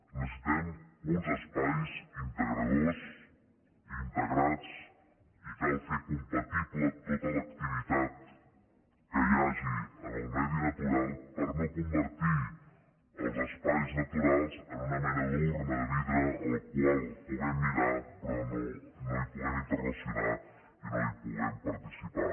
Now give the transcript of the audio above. necessitem uns espais integradors i integrats i cal fer compatible tota l’activitat que hi hagi en el medi natural per no convertir els espais naturals en una mena d’urna de vidre a la qual puguem mirar però no hi puguem interrelacionar i no hi puguem participar